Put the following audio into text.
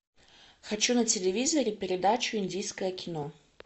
хочу на телевизоре передачу индийское кино